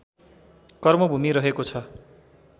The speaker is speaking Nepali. कर्मभूमि रहेको छ